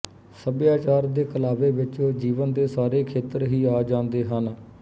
ਸੱਭਿਆਚਾਰ ਦੇ ਕਲਾਵੇ ਵਿੱਚ ਜੀਵਨ ਦੇ ਸਾਰੇ ਖੇਤਰ ਹੀ ਆ ਜਾਂਦੇ ਹਨ